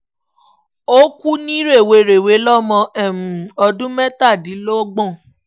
ó kú ní rèwerèwe lọ́mọ um ọdún mẹ́tàdínlọ́gbọ̀n